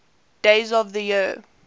days of the year